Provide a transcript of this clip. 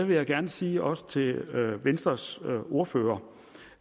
vil jeg gerne sige også til venstres ordfører